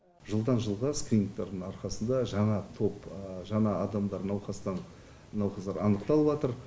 жылдан жылға скринингтің арқасында жаңа топ жаңа адамдар науқастар анықталыватыр